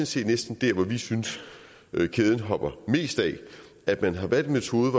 set næsten der hvor vi synes kæden hopper mest af at man har valgt en metode